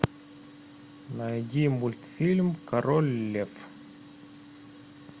найди мультфильм король лев